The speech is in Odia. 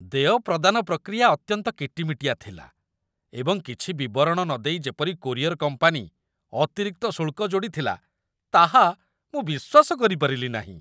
ଦେୟ ପ୍ରଦାନ ପ୍ରକ୍ରିୟା ଅତ୍ୟନ୍ତ କିଟିମିଟିଆ ଥିଲା, ଏବଂ କିଛି ବିବରଣ ନ ଦେଇ ଯେପରି କୋରିଅର କମ୍ପାନୀ ଅତିରିକ୍ତ ଶୁଳ୍କ ଯୋଡ଼ିଥିଲା, ତାହା ମୁଁ ବିଶ୍ୱାସ କରିପାରିଲି ନାହିଁ।